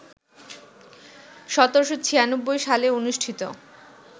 ১৭৯৬ সালে অনুষ্ঠিত